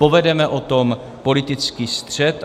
Povedeme o tom politický střet.